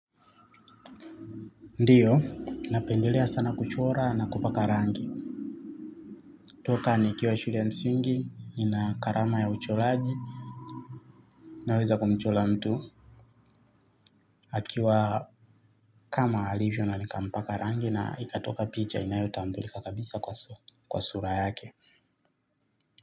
Ndiyo, napendelea sana kuchora na kupaka rangi. Toka nikiwa shule ya msingi, ni na karama ya ucholaji, naweza kumchola mtu. Akiwa kama alivyo na nikampaka rangi na ikatoka picha inayotambulika kabisa kwa sura yake.